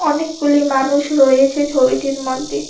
অনেকগুলি মানুষ রয়েছে ছবিটির মধ্যে।